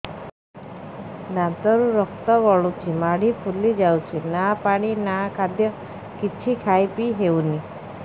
ଦାନ୍ତ ରୁ ରକ୍ତ ଗଳୁଛି ମାଢି ଫୁଲି ଯାଉଛି ନା ପାଣି ନା ଖାଦ୍ୟ କିଛି ଖାଇ ପିଇ ହେଉନି